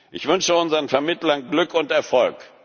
Ich wünsche unseren Vermittlern Glück und Erfolg.